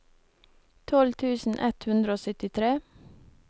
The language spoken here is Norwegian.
tolv tusen ett hundre og syttitre